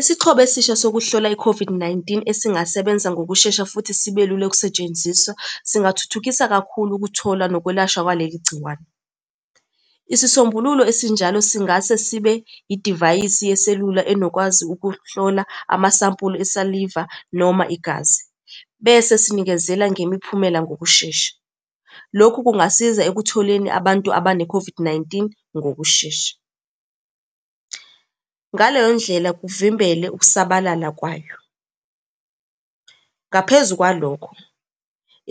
Isixhobo esisha sokuhlola i-COVID-19 esingasebenzi ngokushesha futhi sibe lula ukusetshenziswa, singathuthukisa kakhulu ukutholwa nokwelashwa kwaleli gciwane. Isisombululo esinjalo singase sibe idivayisi yeselula enokwazi ukuhlola amasampuli esaliva noma igazi, bese sinikezele ngemiphumela ngokushesha. Lokhu kungasiza ekutholeni abantu abane-COVID-19 ngokushesha, ngaleyo ndlela kuvimbele ukusabalala kwayo. Ngaphezu kwalokho,